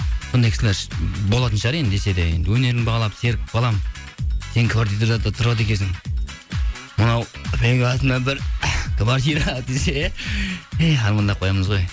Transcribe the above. бұндай кісілер болатын шығар енді десе де енді өнерімді бағалап серік балам сен квартирада тұрады екенсің мынау менің атымнан бір квартира десе иә ей армандап қоямыз ғой